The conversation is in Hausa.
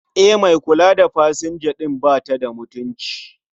E, mai kula da pasanja din batada mutunci